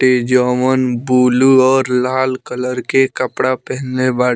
इ जोवन ब्लू और लाल कलर के कपड़ा पहेनले बा।